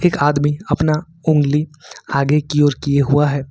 एक आदमी अपना उंगली आगे की ओर किये हुआ है।